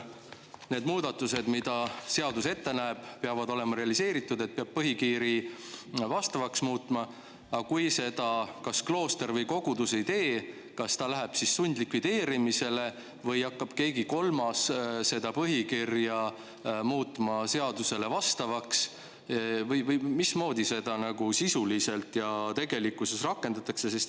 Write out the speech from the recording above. Need muudatused, mida seadus ette näeb, peavad olema realiseeritud, ja põhikirja peab vastavaks muutma, aga kui kas klooster või kogudus seda ei tee, kas ta läheb siis sundlikvideerimisele või hakkab keegi kolmas seda põhikirja muutma seadusele vastavaks või mismoodi seda sisuliselt ja tegelikkuses rakendatakse?